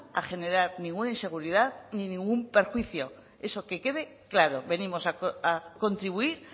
a generar ninguna inseguridad ni ningún perjuicio eso que quede claro venimos a contribuir